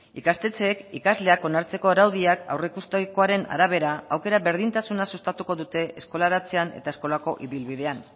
ikastetxeek ikasleak onartzeko araudiak aurreikusitakoaren arabera aukera berdintasuna sustatuko dute eskolaratzean eta eskolako ibilbidean